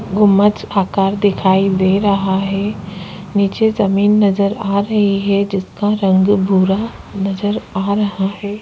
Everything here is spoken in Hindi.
गुमंद आकार दिखाई दे रहा है नीचे जमीन नजर आ रही है जिसका रंग भूरा नजर आ रहा है।